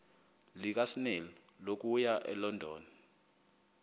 lukasnail okuya elondon